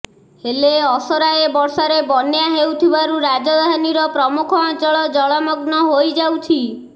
ହେଲେ ଅସରାଏ ବର୍ଷାରେ ବନ୍ୟା ହେଉଥିବାରୁ ରାଜଧାନୀର ପ୍ରମୁଖ ଅଞ୍ଚଳ ଜଳମଗ୍ନ ହୋଇଯାଉଛି